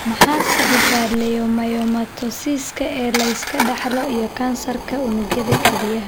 Maxaa sababa leiomyomatosiska ee la iska dhaxlo iyo kansarka unugyada kelyaha?